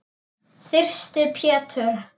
Þyrsti Pétur.